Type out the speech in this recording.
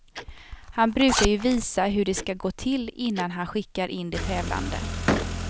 Han brukar ju visa hur det ska gå till innan han skickar in de tävlande.